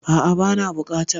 Aa' bana bukata